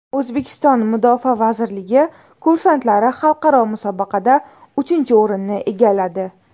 O‘zbekiston Mudofaa vazirligi kursantlari xalqaro musobaqada uchinchi o‘rinni egalladi.